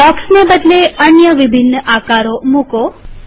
બ્લોકસને બદલે અન્ય વિભિન્ન આકારો મુકો